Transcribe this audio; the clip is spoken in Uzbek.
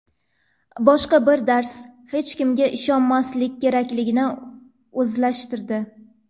Boshqa bir dars: hech kimga ishonmaslik kerakligini o‘zlashtirdi.